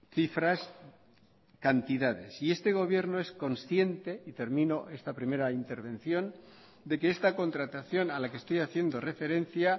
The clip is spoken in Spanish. cifras cantidades y este gobierno es consciente y termino esta primera intervención de que esta contratación a la que estoy haciendo referencia